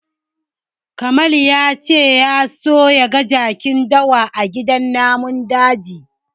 Jamal ya ce ya so ya ga jakin dawa a gidan namun daji.